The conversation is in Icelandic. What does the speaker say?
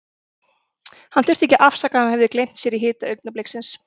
Hann þurfti ekki að afsaka að hann hafði gleymt sér í hita augnabliksins.